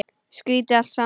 Skrýtið allt saman.